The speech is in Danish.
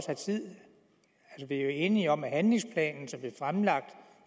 have tid vi er jo enige om at handlingsplanen som blev fremlagt